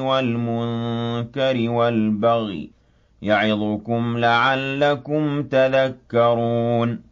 وَالْمُنكَرِ وَالْبَغْيِ ۚ يَعِظُكُمْ لَعَلَّكُمْ تَذَكَّرُونَ